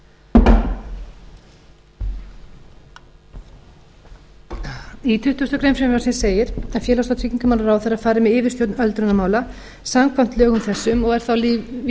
frumvarpið nánar í tuttugustu greinar frumvarpsins segir að félags og tryggingamálaráðherra fari með yfirstjórn öldrunarmála samkvæmt lögum þessum og er þá vísað